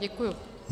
Děkuji.